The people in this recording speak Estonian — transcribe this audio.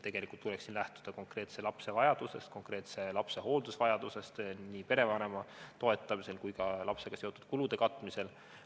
Tegelikult tuleks lähtuda konkreetse lapse hooldusvajadusest nii perevanema toetamisel kui ka lapsega seotud kulude katmisel.